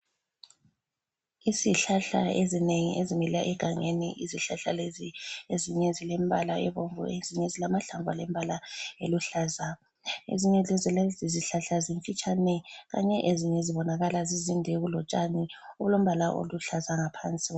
Izihlahla ezinengi ezimila egangeni izihlahla lezi ezinye zilembala ebomvu ezinye zilamahlamvu alembala eluhlaza. Ezinye zalezi izihlahla zimfitshane kanye ezinye zibonakala zizinde kulotshani. Kulombala oluhlaza ngaphansi